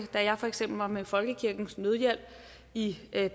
da jeg for eksempel var med folkekirkens nødhjælp i